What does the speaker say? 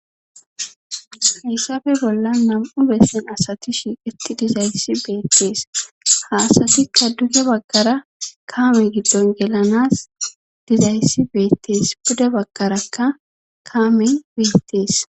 hayssafe bolla nam7u bessen asati shiiqeti dizayssi beettees haasatikka duge bagkara kaame giddon gelanas dizayssi beettees bude bagkarakka kaamen betees